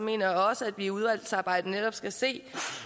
mener jeg også at vi i udvalgsarbejdet netop skal se